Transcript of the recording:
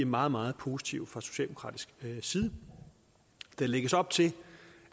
meget meget positive fra socialdemokratisk side der lægges op til